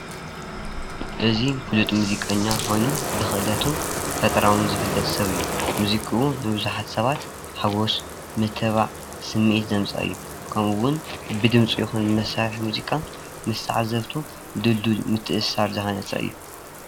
እዚ ፍሉጥ ሙዚቀኛ ኮይኑ ብክእለቱን ብፈጠራን ዝፍለጥ ሰብ እዩ፡፡ ሙዚቁኡ ንቡዙሓት ሰባት ሓጎስ ምትብባዕ ስምዒት ዘምፀአ እዩ፡፡ ከምእ እውን ብድምፂ ይኩን ብመሳርሒ ሙዚቃ ምስ ተዓዘብቱ ድልድል ምትእስሳር ዝሃነፀ እዩ፡፡